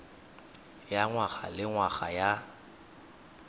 ya ngwaga le ngwaga ya